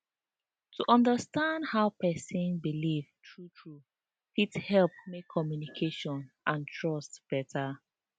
to understand how person believe truetrue fit help make communication and trust better